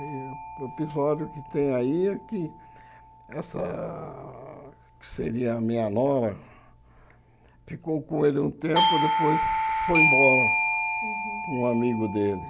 E o episódio que tem aí é que essa, que seria a minha nora, ficou com ele um tempo depois foi embora Uhum com um amigo dele.